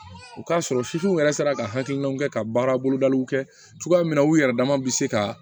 U k'a sɔrɔ w yɛrɛ sera ka hakilinaw kɛ ka baara bolodaliw kɛ cogoya min na u yɛrɛ dama bɛ se ka